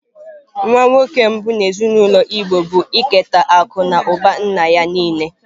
Nwa nwoke mbụ n'ezinaụlọ Igbo bụ iketa akụ na ụba nna ya niile.